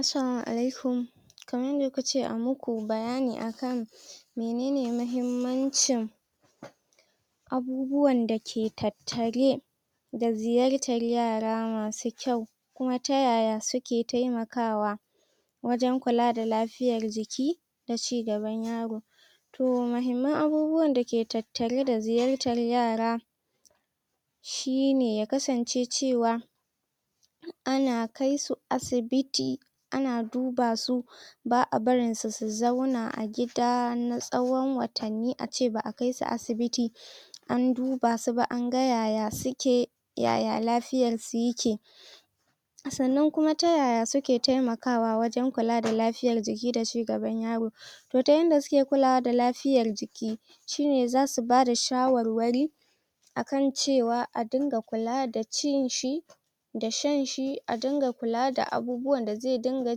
assalamu alaikuma kaman yanda kukace amu ku bayani akan menene mahimmancin abubuwanda ke tattare da zuyartar yara masu kyau kuma ta yaya suke temakawa wajan kula da lafiyan jiki daci gaban yaro to mahimman abubuwan dake tattare da ziyartar yara shine yaka sance cewa ana kaisu asi biti anadubasu ba a barinsu su zauna a gida na tsawon watanni ace ba a kaisu asibiti an dubasuba anga yaya suke yaya lafiyarsu yike sannan kuma ta yaya su ke temakawa wajan kula da la fiyar jiki dashi gabar yaro to ta yarda suke kulawa da lafiyar jiki shine zasu bada shawarwari ankan cewa adunga kula da cinshi da shanshi a dunga kula da abubuwan da ze dunga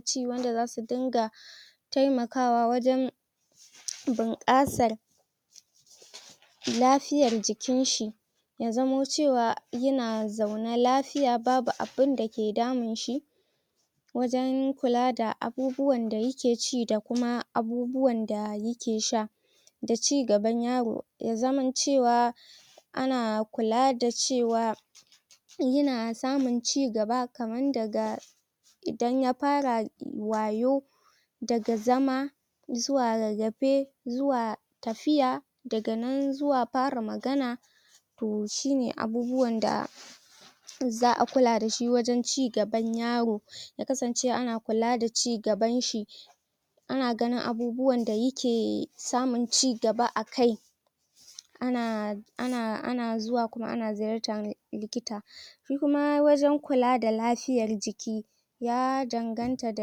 ci wanda zasu dinga taimakawa wajan bunƙasar lafiyar jikinshi ya zamo cewa yana zaune lafiya babu abun da ke damunshi wajan abubuwan da yake ci da kuma abubuwan da yi ke sha da ci gaban yaro yazaman cewa ana kula da cewa yana samun cigaba kaman daga idan yafara wayau daga zama zuwa rarrafe zuwa tafiya daganan zuwa fara magana to shine abubuwan da za a kula dashi wajan ci gaban yaro yaka sance ana kula da ci gaban shi ana gani abubuwan da yake samun ci gaba akai ana ana ana zuwa kuma ana ziyartan likita shi kuma wajan kula da lafiyar jiki ya dan ganta da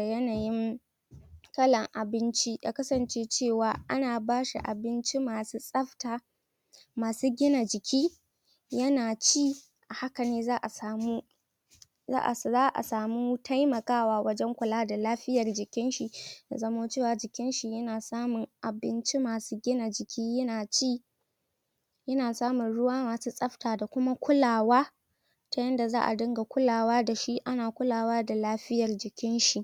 yanayin kalan abinci yakasance cewa ana bashi abinci masu tsafta masu gina jiki yana ci a hakane za a samu za a samu taimakawa wajan kula da lafiyar jikin shi yazamo cewa jikinshi yana samun abinci masu gina jiki yana ci yana samun ruwa masu tsafta dakuma kulawa ta yadda za a dunga kulawa dashi ana kulawa da lafiyan jikinshi